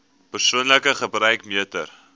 persoonlike gebruik meter